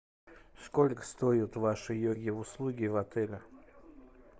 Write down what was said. сколько стоят ваши йоги услуги в отеле